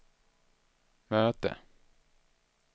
möte